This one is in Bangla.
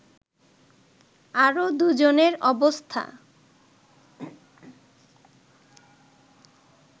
আরো ২ জনের অবস্থা